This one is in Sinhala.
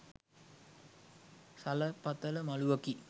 සලපතල මළුවකි.